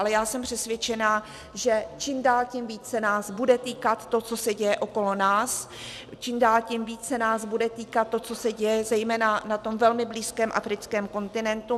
Ale já jsem přesvědčena, že čím dál tím víc se nás bude týkat to, co se děje okolo nás, čím dál tím víc se nás bude týkat to, co se děje zejména na tom velmi blízkém africkém kontinentu.